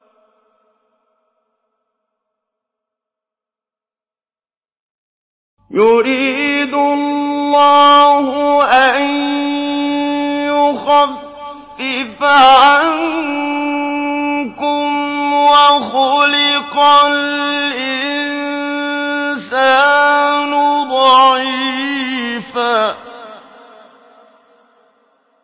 يُرِيدُ اللَّهُ أَن يُخَفِّفَ عَنكُمْ ۚ وَخُلِقَ الْإِنسَانُ ضَعِيفًا